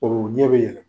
O ɲɛ bɛ yɛlɛ